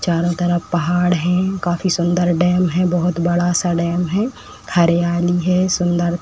चारों तरफ पहाड़ हैं। काफी सुंदर डैम है। बोहोत बड़ा-सा डैम है। हरियाली है। सुंदर --